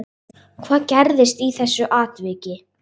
Hvað gerðist í þessu atviki